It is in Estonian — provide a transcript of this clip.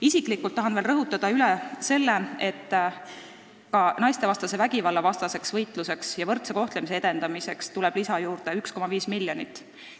Isiklikult tahan veel rõhutada, et naistevastase vägivalla vastu võitlemiseks ja võrdse kohtlemise edendamiseks tuleb juurde 1,5 miljonit.